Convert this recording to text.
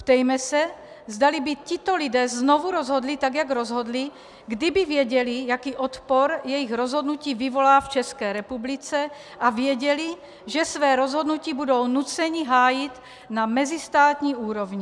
Ptejme se, zdali by tito lidé znovu rozhodli tak, jak rozhodli, kdyby věděli, jaký odpor jejich rozhodnutí vyvolá v České republice, a věděli, že své rozhodnutí budou nuceni hájit na mezistátní úrovni.